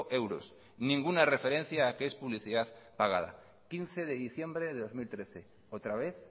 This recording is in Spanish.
euros ninguna referencia a que es publicidad pagada quince de diciembre de dos mil trece otra vez